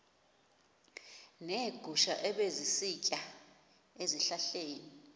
neegusha ebezisitya ezihlahleni